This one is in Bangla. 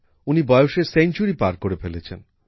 উনি বয়সের সেঞ্চুরি পার করে ফেলেছেন